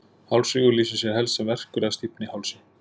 hálsrígur lýsir sér helst sem verkur eða stífni í hálsi